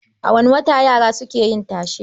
A wane wata yara suke yin tashe?